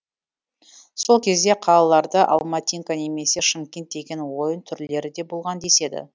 сол кезде қалаларда алматинка немесе шымкент деген ойын түрлері де болған деседі